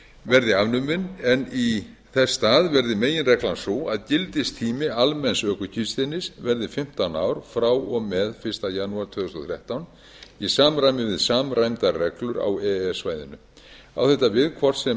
verði afnumin en í þess stað verði meginreglan sú að gildistími almenns ökuskírteinis verði fimmtán ár frá og með fyrsta janúar tvö þúsund og þrettán í samræmi við samræmdar reglur e e s svæðinu á þetta við hvort sem